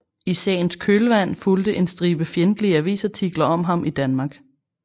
I sagens kølvand fulgte en stribe fjendtlige avisartikler om ham i Danmark